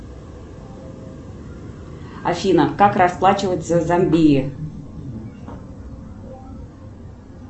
афина как расплачиваться в зомбии